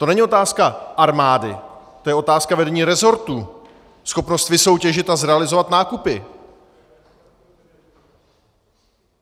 To není otázka armády, to je otázka vedení rezortu, schopnost vysoutěžit a zrealizovat nákupy.